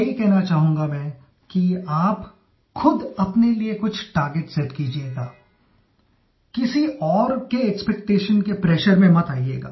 यही कहना चाहूँगा मैं कि आप ख़ुद अपने लिए कुछ टार्गेट सेट कीजियेगा किसी और के एक्सपेक्टेशन के प्रेशर में मत आइयेगा